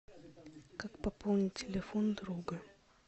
как пополнить телефон друга